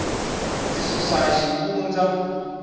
ndzi susu xivundza